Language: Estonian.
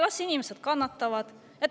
Las inimesed kannatavad.